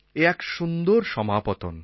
এ এক সুন্দর সমাপতন